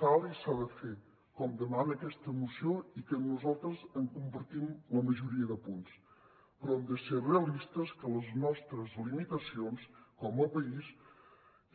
cal i s’ha de fer com demana aquesta moció que nosaltres en compartim la majoria de punts però hem de ser realistes de les nostres limitacions com a país